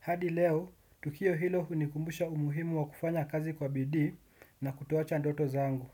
Hadi leo, tukio hilo hunikumbusha umuhimu wa kufanya kazi kwa bidii na kutoacha ndoto zangu.